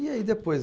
E aí depois?